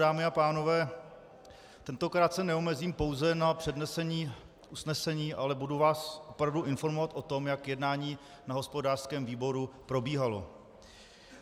Dámy a pánové, tentokrát se neomezím pouze na přednesení usnesení, ale budu vás opravdu informovat o tom, jak jednání na hospodářském výboru probíhalo.